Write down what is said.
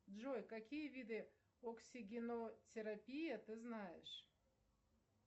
джой какие виды оксигенотерапии ты знаешь